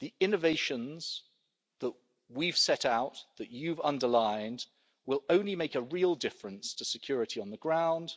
The innovations that we've set out, that you have underlined, will only make a real difference to security on the ground